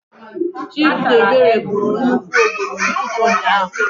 Chidiebere gburu nnukwu ọbọgwụ n'ụtụtụ ụnyaahụ.